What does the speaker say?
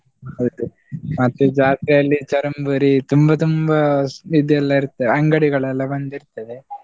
ಹೌದು ಮತ್ತೆ ಜಾತ್ರೆಯಲ್ಲಿ ಚರಂಬುರಿ, ತುಂಬಾ ತುಂಬಾ ಇದೆಲ್ಲ ಇರ್ತದೆ ಅಂಗಡಿಗಳೆಲ್ಲ ಬಂದಿರ್ತದೆ.